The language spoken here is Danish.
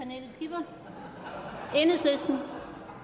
er herre